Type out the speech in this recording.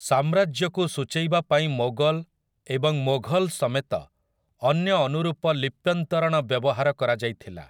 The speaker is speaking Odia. ସାମ୍ରାଜ୍ୟ'କୁ ସୂଚେଇବା ପାଇଁ ମୋଗଲ୍‌ ଏବଂ ମୋଘଲ୍ ସମେତ ଅନ୍ୟ ଅନୁରୂପ ଲିପ୍ୟନ୍ତରଣ ବ୍ୟବହାର କରାଯାଇଥିଲା ।